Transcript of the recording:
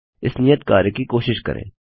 इस नियत कार्य की कोशिश करें